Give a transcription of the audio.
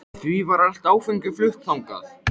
Því var allt áfengi flutt þannig.